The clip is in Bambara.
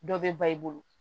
Dɔ bɛ ba i bolo